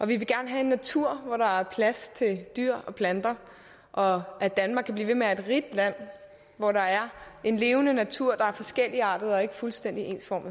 vil gerne have natur hvor der er plads til dyr og planter og at danmark kan blive ved med at være et rigt land hvor der er en levende natur der er forskelligartet og ikke fuldstændig ensformig